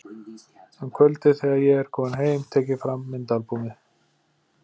Um kvöldið þegar ég er kominn heim tek ég fram myndaalbúmið.